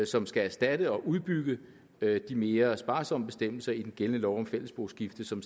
som skal erstatte og udbygge de mere sparsomme bestemmelser i den gældende lov om fælles boskifte som